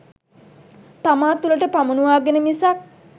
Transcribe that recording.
තමා තුළට පමුණුවාගෙන මිසක්